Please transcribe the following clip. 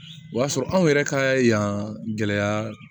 O y'a sɔrɔ anw yɛrɛ ka yan gɛlɛya